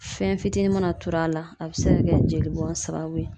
Fɛn fitinin mana turu a la a bɛ se ka kɛ jeli bon sababu ye